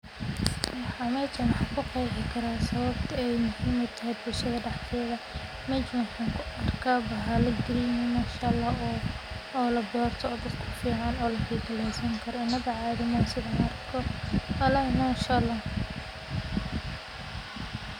waxaan meeshan kuqeexi karaa muhimada beerashada bulshdada walahi masha allhaidoo kale waa muhiim in ganacsatada badarka ay yeeshaan aqoon ku saabsan baahida suuqyada dibadda taas oo ka caawin karta inay beegsadaan dalal gaar ah oo raadinaya noocyada badarka ee kenya kasoo saarto sida galleyda, sarreenka, iyo masagada